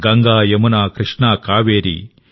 Ganga Yamuna Krishna Kaveri